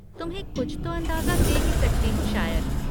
तुम्हें कुछ तो अंदाज़ा दे ही सकती हूँ शायद।